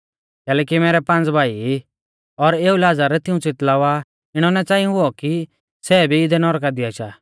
कैलैकि मैरै पाँज़ भाई ई और एऊ लाज़र तिऊं च़ितलावा इणौ नाईं च़ांई हुऔ कि सै भी इदै नौरका दी आशा